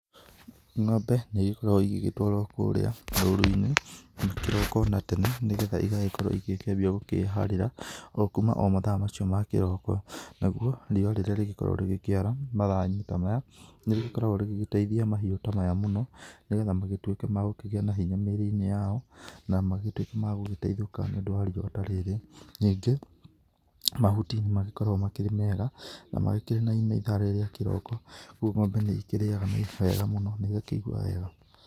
Ngombe nĩ igĩkoragwo igĩgĩtwarwo kũrĩa rũru-inĩ na kĩroko na tene nĩ getha igagĩkorwo igĩkĩambia gũkĩharĩra o kuma o mathaa macio ma kĩroko, naguo riũa rĩrĩa rĩgĩkoragwo rĩgĩkĩara mathaa-inĩ ta maya nĩ rĩgĩkoragwo rĩgĩteithia mahiũ ta maya mũno nĩ getha magĩtuĩke ma gũkĩgĩa na hinya mĩrĩ-inĩ yao, na magĩtuĩke ma gũgĩteithĩka nĩũndũ wa riũa ta rĩrĩ. Ningĩ mahuti nĩ magĩkoragwo makĩrĩ mega na makĩrĩ na ime ithaa rĩrĩ rĩa kĩroko, ũguo ng'ombe nĩ ĩkĩrĩaga wega mũno na igakĩigua wega.